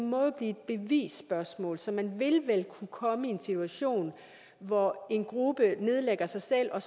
må jo blive et bevisspørgsmål så man vil vel kunne komme i en situation hvor en gruppe nedlægger sig selv og